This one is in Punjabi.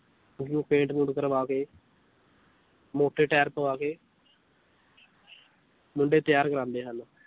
ਉਨੂੰ ਪੇਂਟ ਪੂੰਟ ਕਰਵਾ ਕੇ ਮੋਟੇ ਟੈਰ ਪਵਾ ਕੇ ਮੁੰਡੇ ਤੈਆਰ ਕਰਵਾਉਦੇ ਹਨ l